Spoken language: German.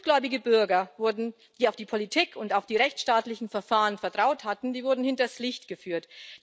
Gutgläubige Bürger, die auf die Politik und auf die rechtsstaatlichen Verfahren vertraut hatten, wurden hinters Licht geführt.